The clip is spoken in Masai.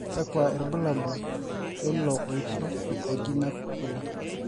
kakua irbulabol leilo oito oji navicular